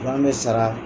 An bɛ sara